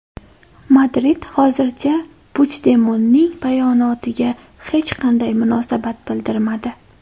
Madrid hozircha Puchdemonning bayonotiga hech qanday munosabat bildirmadi.